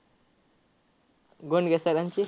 Gondke sir चे?